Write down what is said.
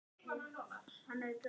kallaði hún.